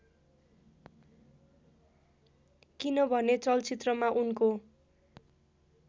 किनभने चलचित्रमा उनको